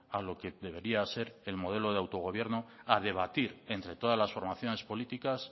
a lo que debería ser el modelo de autogobierno a debatir entre todas las formaciones políticas